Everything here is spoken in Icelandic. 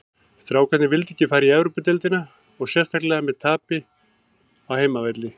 Strákarnir vildu ekki fara í Evrópudeildina og sérstaklega með tapi á heimavelli.